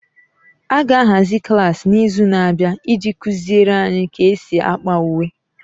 A ga-ahazi klaasị n'izu na-abịa iji kuziere anyị ka e si ákpà uwe.